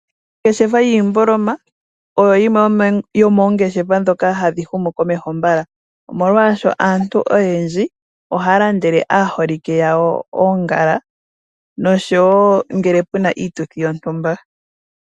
Ongeshefa yiimboloma oyo yimwe yomoongeshefa dhoka hadhi humu komeho mbala ,omolwasho aantu oyendji ohaa landele aaholike yawo oongala noshowo ngele pena iituthi yontumba.